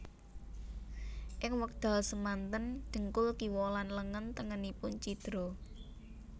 Ing wekdal semanten dhengkul kiwa lan lengen tengenipun cidra